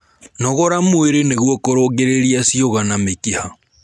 Nogora mwĩrĩ nĩguo kũrũngĩrĩrĩa cĩũga na mĩkiha